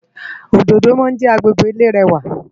Ódódó má njè ágbégbé ilé rèwá